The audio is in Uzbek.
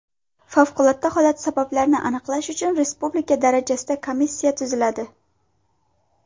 Favqulodda holat sabablarini aniqlash uchun respublika darajasida komissiya tuziladi.